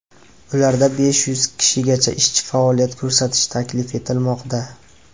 Ularda besh yuz kishigacha ishchi faoliyat ko‘rsatishi taklif etilmoqda.